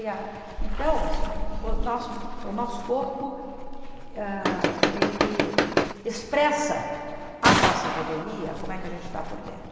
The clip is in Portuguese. Então, o nosso o nosso corpo ah ele expressa a nossa revelia, como é que a gente está por dentro.